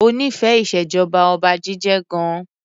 O nífẹẹ ìṣèjọba Ọba jíjẹ gan.